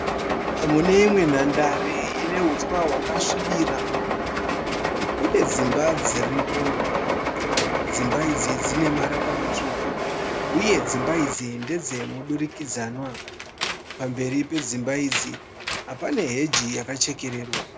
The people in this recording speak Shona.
Muneimwe nhandare une huswa hwakasvibira. Kune dzimba dziripo. Uye dzimba idzi dzine marara matsvuku. Dzimba idzi ndedzemudurikidzanwa. Pamberi pedzimba idzi pane heji yakachekererwa.